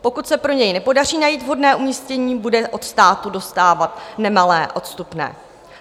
Pokud se pro něj nepodaří najít vhodné umístění, bude od státu dostávat nemalé odstupné.